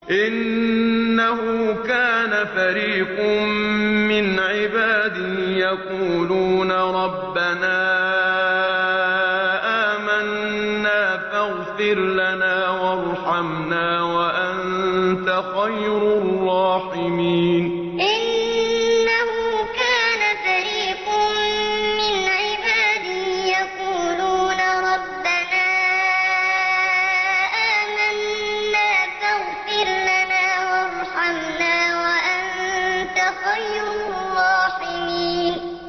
إِنَّهُ كَانَ فَرِيقٌ مِّنْ عِبَادِي يَقُولُونَ رَبَّنَا آمَنَّا فَاغْفِرْ لَنَا وَارْحَمْنَا وَأَنتَ خَيْرُ الرَّاحِمِينَ إِنَّهُ كَانَ فَرِيقٌ مِّنْ عِبَادِي يَقُولُونَ رَبَّنَا آمَنَّا فَاغْفِرْ لَنَا وَارْحَمْنَا وَأَنتَ خَيْرُ الرَّاحِمِينَ